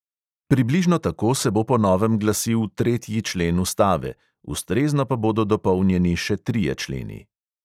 Približno tako se bo po novem glasil tretji člen ustave, ustrezno pa bodo dopolnjeni še trije členi.